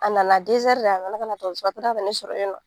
A nana de, a nana ka na dɔgɔtɔrɔso la, a kila ka ne sɔrɔ yen